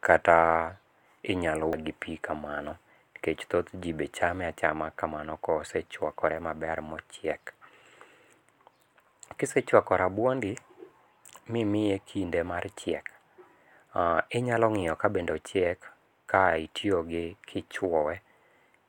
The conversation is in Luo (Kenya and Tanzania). kata inyalo wee gi pi kamano. Nikech thoth ji be chame achama kamano ka osechwakore ma ochiek. Kisechwako rabuondi mi imiye kinde mar chiek, inyalo ngíyo ka bende ochiek, ka itiyo gi, ka ichwoye,